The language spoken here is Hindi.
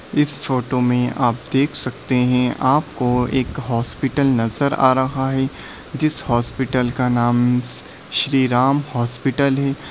इस फोटो मे आप देख सकते है आपको एक हॉस्पिटल नजर आ रहा है जिस हॉस्पिटल श्री राम हॉस्पिटल है।